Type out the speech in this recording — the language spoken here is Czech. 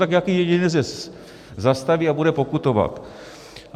Tak nějaký jedinec je zastaví a bude pokutovat.